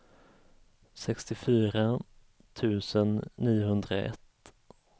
sextiofyra tusen niohundraett